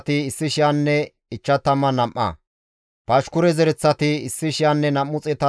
Qiroose, Si7ahanne Padoone zereththata,